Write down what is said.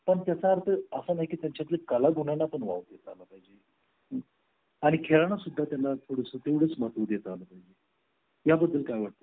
पण त्याचा अर्थ असा नाही की त्यांच्या तील कलागुणांना वाव देता आला पाहिजे आणि खेळा सुद्धा त्यांना थोडासा तेवढेच महत्त्व देत आलो याबद्दल काय वाटते तुला